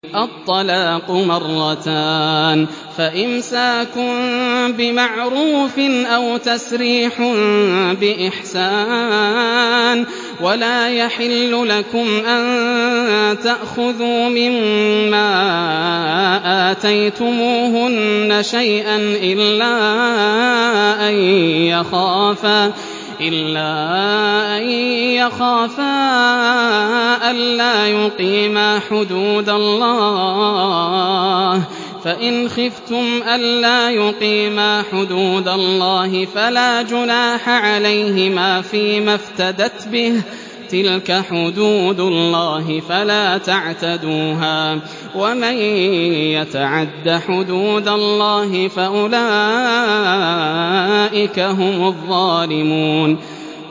الطَّلَاقُ مَرَّتَانِ ۖ فَإِمْسَاكٌ بِمَعْرُوفٍ أَوْ تَسْرِيحٌ بِإِحْسَانٍ ۗ وَلَا يَحِلُّ لَكُمْ أَن تَأْخُذُوا مِمَّا آتَيْتُمُوهُنَّ شَيْئًا إِلَّا أَن يَخَافَا أَلَّا يُقِيمَا حُدُودَ اللَّهِ ۖ فَإِنْ خِفْتُمْ أَلَّا يُقِيمَا حُدُودَ اللَّهِ فَلَا جُنَاحَ عَلَيْهِمَا فِيمَا افْتَدَتْ بِهِ ۗ تِلْكَ حُدُودُ اللَّهِ فَلَا تَعْتَدُوهَا ۚ وَمَن يَتَعَدَّ حُدُودَ اللَّهِ فَأُولَٰئِكَ هُمُ الظَّالِمُونَ